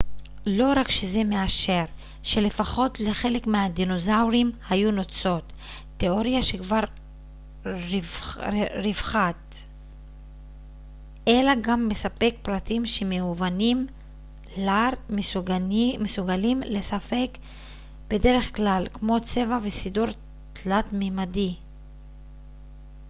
לא רק שזה מאשר שלפחות לחלק מהדינוזאורים היו נוצות תיאוריה שכבר רווחת אלא גם מספק פרטים שמאובנים לר מסוגלים לספק בדרך כלל כמו צבע וסידור תלת-מימדי